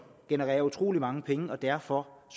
genererer utrolig mange penge og derfor